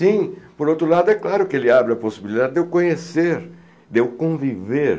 Sim, por outro lado, é claro que ele abre a possibilidade de eu conhecer, de eu conviver